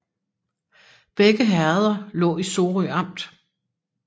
Begge herreder lå i Sorø Amt